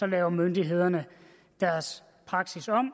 laver myndighederne deres praksis